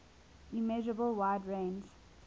immeasurable wide range